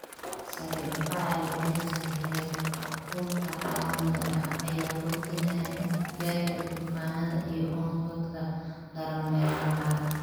Sare u kaca celceliska heerkulka caalamiga ah ayaa kordhinaya inta jeer ee duufaanada iyo onkodka daran meelaha qaar.